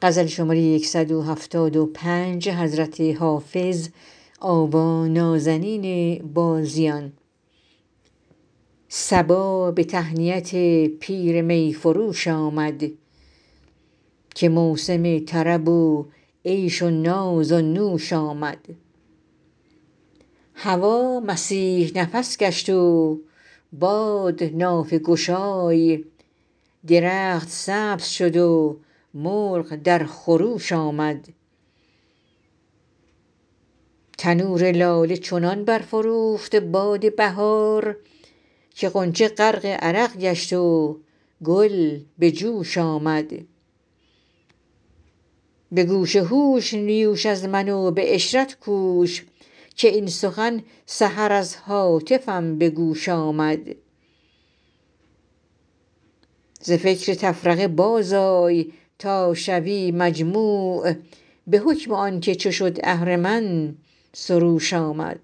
صبا به تهنیت پیر می فروش آمد که موسم طرب و عیش و ناز و نوش آمد هوا مسیح نفس گشت و باد نافه گشای درخت سبز شد و مرغ در خروش آمد تنور لاله چنان برفروخت باد بهار که غنچه غرق عرق گشت و گل به جوش آمد به گوش هوش نیوش از من و به عشرت کوش که این سخن سحر از هاتفم به گوش آمد ز فکر تفرقه بازآی تا شوی مجموع به حکم آن که چو شد اهرمن سروش آمد